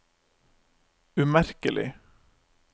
umerkelig